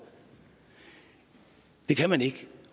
det kan man ikke